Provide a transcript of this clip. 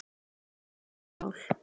Munu skoða öll mál